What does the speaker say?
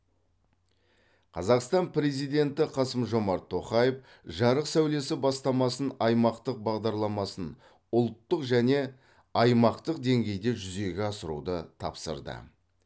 қазақстан президенті қасым жомарт тоқаев жарық сәулесі бастамасын аймақтық бағдарламасын ұлттық және аймақтық деңгейде жүзеге асыруды тапсырды